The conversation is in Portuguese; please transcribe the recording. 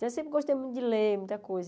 Eu sempre gostei muito de ler, muita coisa.